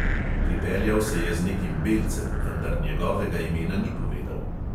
Pripeljal se je z nekim belcem, vendar njegovega imena ni povedal.